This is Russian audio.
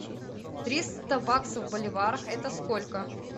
триста баксов в боливарах это сколько